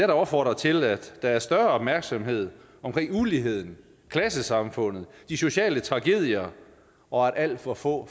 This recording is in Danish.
opfordre til at der var større opmærksomhed på uligheden klassesamfundet de sociale tragedier og at alt for få